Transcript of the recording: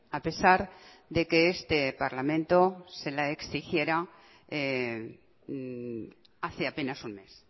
a pesar de que este parlamento se le exigiera hace apenas un mes